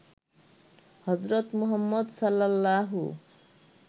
হজরত মুহাম্মদ সাল্লাল্লাহু